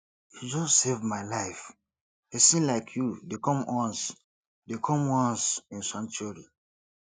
you just save my life pesin like you dey come once dey come once in century